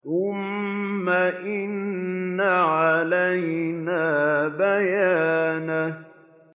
ثُمَّ إِنَّ عَلَيْنَا بَيَانَهُ